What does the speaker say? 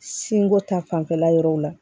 Sinko ta fanfɛla yɔrɔw la